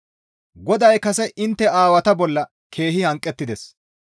«GODAY kase intte aawata bolla keehi hanqettides.